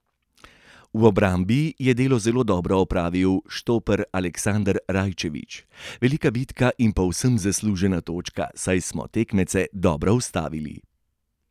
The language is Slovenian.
V obrambi je delo zelo dobro opravil štoper Aleksander Rajčević: 'Velika bitka in povsem zaslužena točka, saj smo tekmeca dobro ustavili.